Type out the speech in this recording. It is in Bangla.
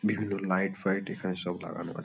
বিভিন্ন লাইট ফায়ট এখানে সব লাগানো আছে।